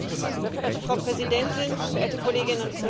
Frau Präsidentin, verehrte Kolleginnen und Kollegen!